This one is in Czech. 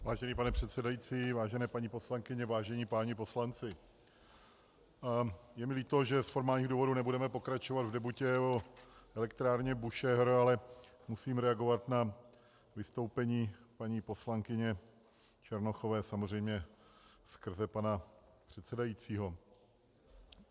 Vážený pane předsedající, vážené paní poslankyně, vážení páni poslanci, je mi líto, že z formálních důvodů nebudeme pokračovat v debatě o elektrárně Búšehr, ale musím reagovat na vystoupení paní poslankyně Černochové, samozřejmě skrze pana předsedajícího.